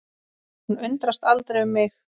Hún undrast aldrei um mig.